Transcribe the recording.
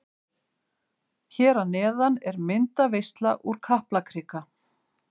Hér að neðan er myndaveisla úr Kaplakrika.